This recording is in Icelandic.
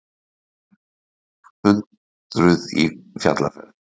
Hundruð í fjallaferð